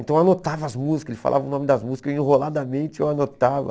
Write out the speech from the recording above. Então eu anotava as músicas, ele falava o nome das músicas, eu enroladamente eu anotava.